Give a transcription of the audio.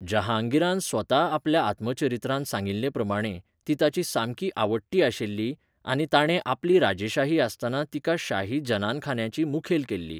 जहांगीरान स्वता आपल्या आत्मचरित्रांत सांगिल्लेप्रमाणें ती ताची सामकी आवडटी आशिल्ली आनी ताणें आपली राजेशाही आसतना तिका शाही जनानखान्याची मुखेल केल्ली.